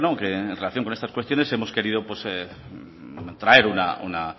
que en relación con estas cuestiones hemos querido traer una